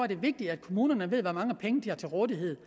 det vigtigt at kommunerne ved hvor mange penge de har til rådighed